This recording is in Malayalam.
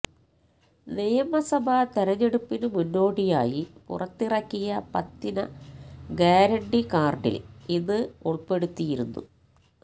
നിയമസഭാ തിരഞ്ഞെടുപ്പിന് മുന്നോടിയായി പുറത്തിറക്കിയ പത്തിന ഗ്യാരണ്ടി കാര്ഡില് ഇത് ഉള്പ്പെടുത്തിയിരുന്നു